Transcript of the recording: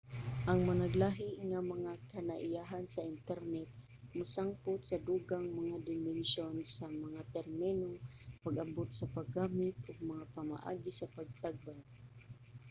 ang managlahi nga mga kinaiyahan sa internet mosangpot sa dugang mga dimensyon sa mga termino pag-abot sa paggamit ug mga pamaagi sa pagtagbaw